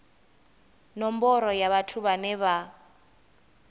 nomboro ya vhathu vhane vha